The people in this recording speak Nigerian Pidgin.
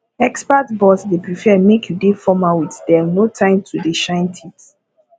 expat boss dey prefer make you dey formal with them no time to dey shine teeth